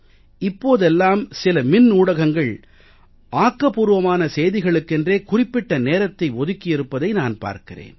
இப்போதெல்லாம் சில மின்னூடகங்கள் ஆக்கபூர்வமான செய்திகளுக்கென்றே குறிப்பிட்ட நேரத்தை ஒதுக்கி இருப்பதை நான் பார்க்கிறேன்